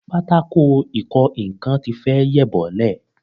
Pátákò ìkọ nǹkan ti fẹ́ yẹ̀ bọ́lẹ̀